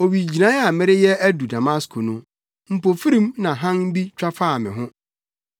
“Owigyinae a mereyɛ adu Damasko no, mpofirim na hann bi twa faa me ho.